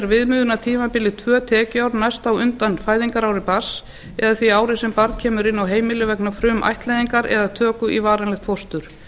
viðmiðunartímabilið tvö tekjuár næst á undan fæðingarári barns eða því ári sem barn kemur inn á heimilið vegna frumættleiðingar eða töku í varanlegt fóstur